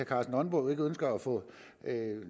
karsten nonbo ikke ønsker at få